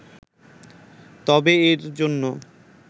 তবে এর জন্য